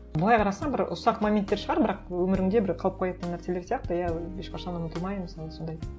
былай қарасаң бір ұсақ моменттер шығар бірақ өміріңде бір қалып қоятын нәрселер сияқты иә ешқашан ұмытылмай мысалы сондай